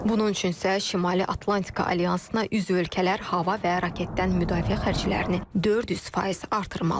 Bunun üçün isə Şimali Atlantika Alyansına üzv ölkələr hava və raketdən müdafiə xərclərini 400% artırmalıdır.